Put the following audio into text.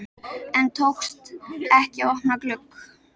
En tókst ekki að opna glugg